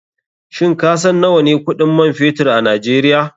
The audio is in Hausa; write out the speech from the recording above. Shin kasan nawane kuɗin man fetur a nigeria?